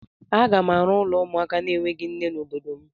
Aga m arụ ụlọ ụmụaka enweghị nne n'obodo m.